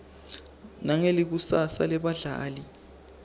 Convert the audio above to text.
nangelikusasa lebabhali